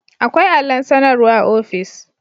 Akwai allon sanarwa a office